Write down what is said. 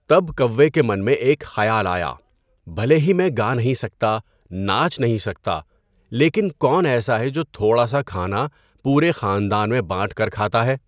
تب کوّا کے من میں ایک خیال آیا، بھلے ہی میں گا نہیں سکتا، ناچ نہیں سکتا لیکن کون ایسا ہے جو تھوڑا سا کھانا پورے خاندان میں بانٹ کر کھاتا ہے؟